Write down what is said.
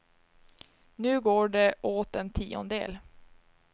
Nu går det åt en tiondel.